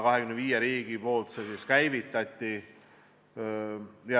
25 riiki selle käivitasid.